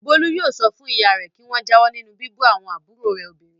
Bólú yóò sọ fún ìyá rẹ̀ kí wọ́n jáwọ́ nínú bíbú àbúrò rẹ̀ obìnrin.